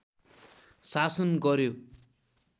शासन गर्‍यो